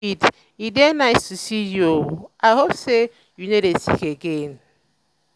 e dey nice to see you oo i hope say you no dey sick again?